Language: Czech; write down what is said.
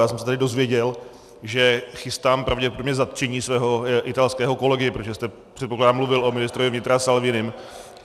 Já jsem se tady dozvěděl, že chystám pravděpodobně zatčení svého italského kolegy, protože jste, předpokládám, mluvil o ministrovi vnitra Salvinim.